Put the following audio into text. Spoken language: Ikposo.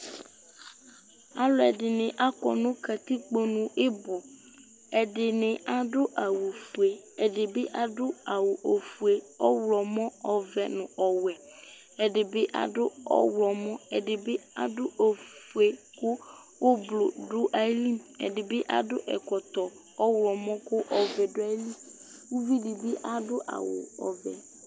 alo ɛdini akɔ no katikpo nu ibò ɛdini adu awu fue ɛdi bi adu awu ofue ɔwlɔmɔ ɔvɛ no ɔwɛ ɛdi bi adu ɔwlɔmɔ ɛdi bi adu ofue kò ublu do ayili ɛdi bi adu ɛkɔtɔ ɔwlɔmɔ kò ɔvɛ do ayili uvi di bi adu awu ɔvɛ